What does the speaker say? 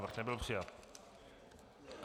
Návrh nebyl přijat.